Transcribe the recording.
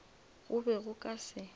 go be go ka se